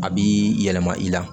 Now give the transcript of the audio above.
A bi yɛlɛma i la